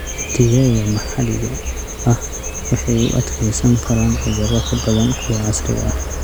Digaagga maxalliga ah waxay u adkeysan karaan cudurro ka badan kuwa casriga ah.